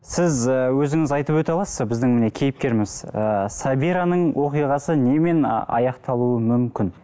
сіз ііі өзіңіз айтып өте аласыз ба біздің міне кейіпкеріміз ыыы сабираның оқиғасы немен аяқталуы мүмкін